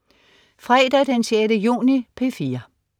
Fredag den 6. juni - P4: